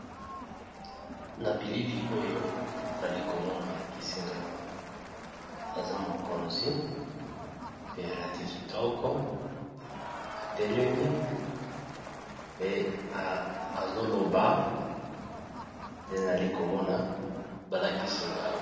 na bilili oyo nali komona balakisi ngawa aza mokonzi pe alati kitoko atelemi pe azoloba te nali komona balakisi ngawa